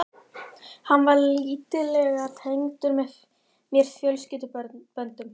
Hann var lítillega tengdur mér fjölskylduböndum.